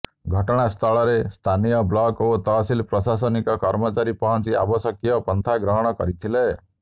ଘଟଣା ସ୍ଥଳରେ ସ୍ଥାନୀୟ ବ୍ଳକ ଓ ତହସିଲ ପ୍ରଶାସନିକ କର୍ମଚାରୀ ପଂହଚି ଆବଶ୍ୟକୀୟ ପନ୍ଥା ଗ୍ରହଣ କରିଥିଲେ